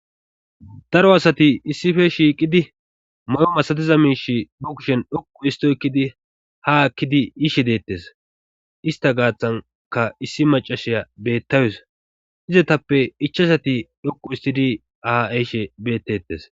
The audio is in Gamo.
daro asati issife shiiqidi may7o masatiza miish be kushen dhoqu histo ekkidi ha akkidi yiishe deettes ista gaaththanka issi macashiya beettawusa izatappe ichasati dhoqu istidi aa7eyshe bettettes